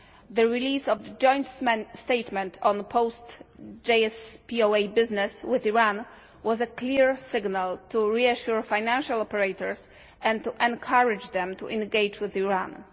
The release of the joint statement on post JCPOA business with Iran was a clear signal to reassure financial operators and to encourage them to engage with Iran.